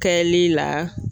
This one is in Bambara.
Kɛli la